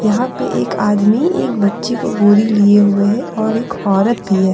यहां पे एक आदमी एक बच्चे को गोदी लिए हुए हैं और एक औरत भी है।